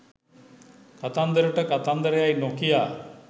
කතන්දරට කතන්දර යැයි නොකියා